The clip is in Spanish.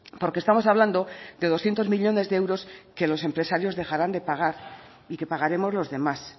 porque estamos hablando de doscientos millónes de euros que los empresarios dejarán de pagar y que pagaremos los demás